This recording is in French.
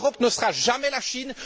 L'Europe ne sera jamais la Chine.